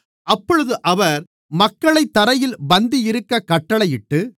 அப்பொழுது அவர் மக்களைத் தரையில் பந்தியிருக்கக் கட்டளையிட்டு